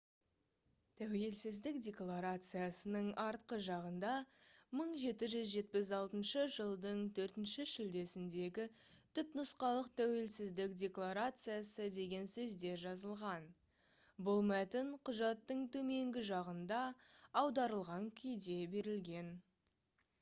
тәуелсіздік декларациясының артқы жағында «1776 жылдың 4 шілдесіндегі түпнұсқалық тәуелсіздік декларациясы» деген сөздер жазылған. бұл мәтін құжаттың төменгі жағында аударылған күйде берілген